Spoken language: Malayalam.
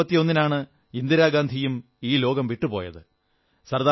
ഒക്ടോബർ 31 നാണ് ഇന്ദിരാഗാന്ധിയും ഈ ലോകം വിട്ടുപോയത്